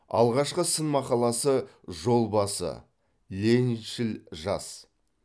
алғашқы сын мақаласы жол басы лениншіл жас